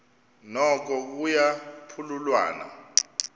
noko kuya phululwana